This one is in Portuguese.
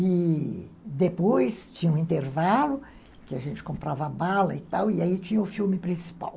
E depois tinha o intervalo, que a gente comprava bala e tal, e aí tinha o filme principal.